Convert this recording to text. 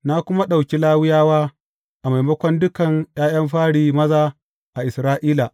Na kuma ɗauki Lawiyawa a maimakon dukan ’ya’yan fari maza a Isra’ila.